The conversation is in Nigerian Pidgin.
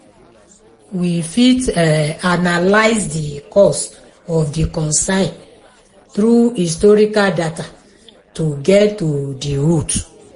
we fit analyse the cause of di concern through historical data to get to the root